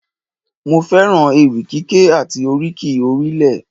Mo fẹ́ràn ewì kíké àti oríkì orílẹ̀